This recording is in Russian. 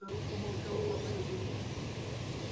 старуха молчала по прежнему